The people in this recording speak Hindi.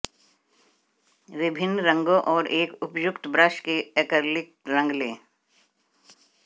विभिन्न रंगों और एक उपयुक्त ब्रश के एक्रिलिक रंग लें